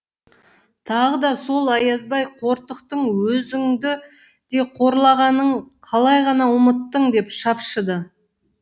тағы да сол аязбай қортықтың өзіңді де қорлағанын қалай ғана ұмыттың деп шапшыды